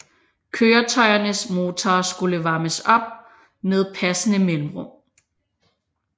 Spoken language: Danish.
Køretøjernes motorer skulle varmes op med passende mellemrum